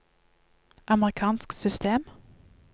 amerikansk system